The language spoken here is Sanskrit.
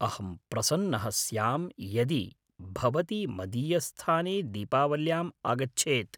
अहं प्रसन्नः स्यां यदि भवती मदीयस्थाने दीपावल्याम् आगच्छेत्।